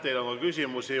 Teile on ka küsimusi.